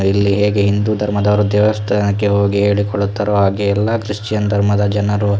ಇಲ್ಲಿ ಹೇಗೆ ಹಿಂದೂ ಧರ್ಮದವರು ದೇವಸ್ಥಾನಕ್ಕೆ ಹೋಗಿ ಹೇಳಿ ಕೊಳ್ಳುತ್ತಾರೋ ಹಾಗೆ ಎಲ್ಲ ಕ್ರಿಶ್ಚಿಯನ್ ಧರ್ಮದ ಜನರು --